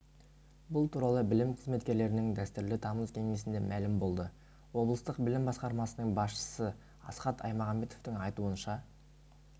бұл туралы білім қызметкерлерінің дәстүрлі тамыз кеңесінде мәлім болды облыстық білім басқармасының басшысы асхат аймағамбетовтің айтуынша